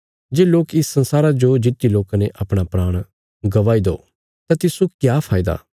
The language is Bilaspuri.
जे लोक इस संसारा जो जित्ति लो कने अपणा‍ प्राण गवाई दो तां तिस्सो क्या फैदा